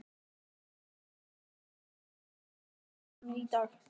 Árún, hvað er á dagatalinu í dag?